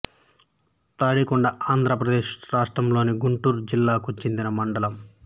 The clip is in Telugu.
తాడికొండ ఆంధ్ర ప్రదేశ్ రాష్ట్రంలోని గుంటూరు జిల్లాకు చెందిన మండలం